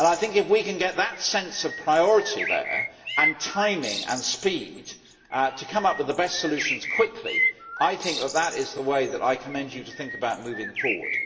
If we can get that sense of priority there and timing and speed to come up with the best solutions quickly, I think that is the way that I commend you to think about moving forward.